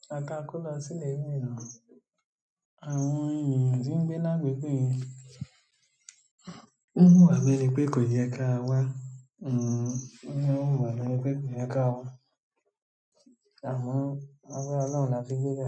ìgbà ta a ko lo si ile mìíràn. Àwọn ènìyàn tí ń gbé lágbègbè yen n hùwà bi ẹni pé kò yẹ ká a wá. Won n hùwà bi ẹni pé kò yẹ ká a wá. Àmo lágbára Olorun la fi gbébe.